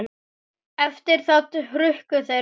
Eftir það hrukku þeir frá.